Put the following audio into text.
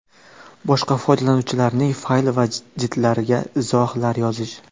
Boshqa foydalanuvchilarning fayl va jildlariga izohlar yozish .